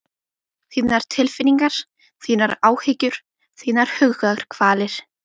Þínar tilfinningar, þínar áhyggjur, þínar hugarkvalir.